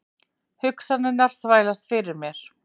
Hugsanirnar þvælast fyrir mér.